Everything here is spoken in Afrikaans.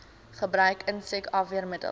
gebruik insek afweermiddels